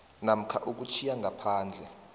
namkha ukutjhiya ngaphandle